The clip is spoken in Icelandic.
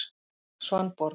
Svanborg